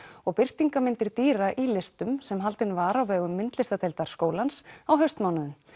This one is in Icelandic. og birtingarmyndir dýra í listum sem haldin var á vegum skólans á haustmánuðum